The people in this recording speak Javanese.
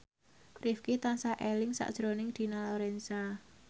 Rifqi tansah eling sakjroning Dina Lorenza